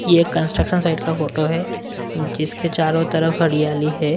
ये construction site का photo है जिसके चारों तरफ हरियाली है।